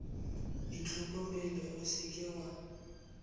itlhokomele o se ke wa